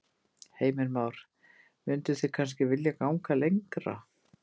Heimir Már: Mynduð þið kannski vilja ganga lengra?